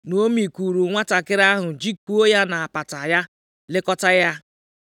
Naomi kuuru nwantakịrị ahụ, jikụọ ya nʼapata ya, lekọtaa ya.